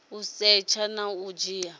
u setsha na u dzhia